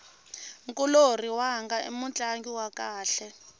nkulorhi wanga i mutlangi wa kahle